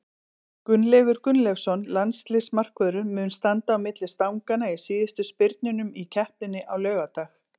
Gunnleifur Gunnleifsson, landsliðsmarkvörður, mun standa á milli stanganna í síðustu spyrnunum í keppninni á laugardag.